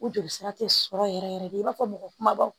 O joli sira tɛ sɔrɔ yɛrɛ yɛrɛ de i b'a fɔ mɔgɔ kumabaw